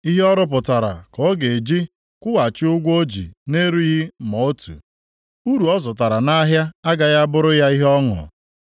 Ihe ọ rụpụtara ka ọ ga-eji kwụghachi ụgwọ o ji na-erighị ma otu. Uru ọ zụtara nʼahịa agaghị abụrụ ya ihe ọṅụ.